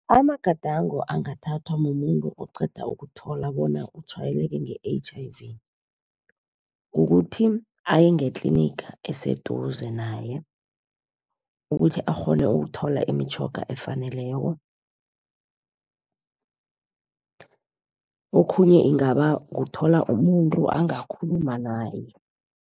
Amagadango angathathwa mumuntu oqeda ukuthola bona utshwayeleke nge-H_I_V kukuthi, aye ngetliniga eseduze naye. Ukuthi akghone ukuthola imitjhoga efaneleko, okhunye kungaba kuthola umuntu angakhuluma naye.